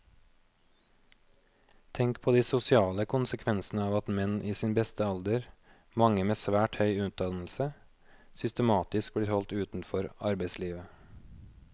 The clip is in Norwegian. Tenk på de sosiale konsekvensene av at menn i sin beste alder, mange med svært høy utdannelse, systematisk blir holdt utenfor arbeidslivet.